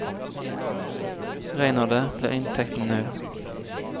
Regner det, blir inntekten null.